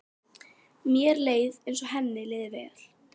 Mér leið eins og henni liði vel.